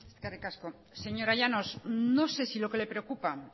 eskerrik asko señora llanos no sé si lo que le preocupa